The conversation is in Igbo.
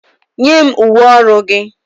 Nye m uwe ọrụ gị!